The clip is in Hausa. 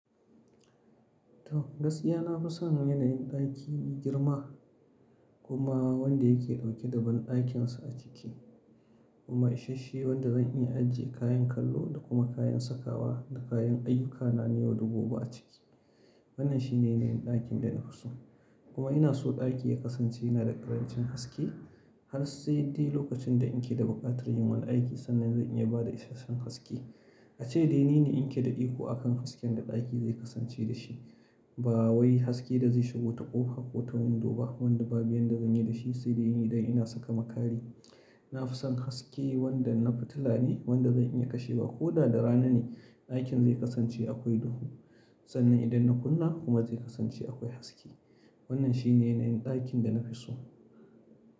To, gaskiya na fi son yanayin ɗaki mai girma kuma wanda yake dauke da banɗakinsa a ciki. Kuma ishashshe wanda zan iya ajiye kayan kallo da kuma kayan sakawa da kayan ayyukana na yau da gobe a ciki. Wannan shine yanayin ɗakin da na fi so. Kuma ina so ɗaki ya kasance yana da ƙarancin haske har sai dai lokacin da in ke da buƙatar yin wani aiki sannan zan iya bada isasshen haske. Ace dai ni ne in ke da iko a kan hasken da ɗaki zai kasance dashi ba wai haske da zai shigo ta ƙofa ko ta window ba wanda babu yanda da zan yi da shi sai dai idan ina saka makari. Na fi son haske wanda na fitila ne wanda zan iya kashewa koda da rana ne ɗakin zai kasance akwai duhu sannan idan na kunna kuma zai kasance akwai haske. Wannan shine yanayin ɗakin da na fi so.